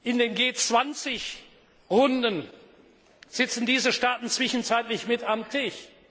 In den G20 Runden sitzen diese Staaten zwischenzeitlich mit am Tisch.